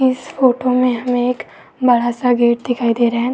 इस फोटो में हमें एक बड़ा सा गेट दिखाई दे रहा है।